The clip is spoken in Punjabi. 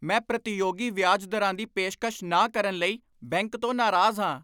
ਮੈਂ ਪ੍ਰਤੀਯੋਗੀ ਵਿਆਜ ਦਰਾਂ ਦੀ ਪੇਸ਼ਕਸ਼ ਨਾ ਕਰਨ ਲਈ ਬੈਂਕ ਤੋਂ ਨਾਰਾਜ਼ ਹਾਂ।